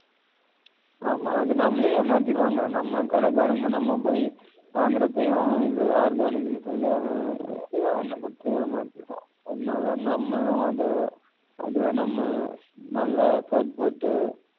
ஆமா அது நம்மளயே ஏமாத்திடுவாங்க நம்ம கடகாரங்க நம்ம போயி வாங்குரப்பையும் இது organic ன்னு சொல்லி அவ ஏதோ ஒண்ணா குடுத்து ஏமாத்திடுவான் அதனால நம்மளும் அத அதுல நம்ம நல்ல போர் போட்டு